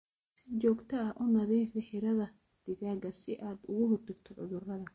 Si joogto ah u nadiifi xiradhaa digaaga si aad uga hortagto cuduradha.